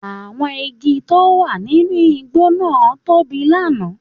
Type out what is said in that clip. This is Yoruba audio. Àwọn igi tó wà nínú igbó náà tóbi lánàá